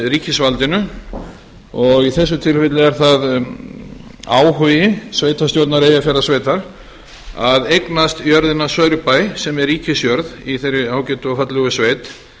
ríkisvaldinu og í þessu tilfelli er það áhugi sveitarstjórnar eyjafjarðarsveitar að eignast jörðina saurbæ sem er ríkisjörð í þeirri ágætu og fallegu sveit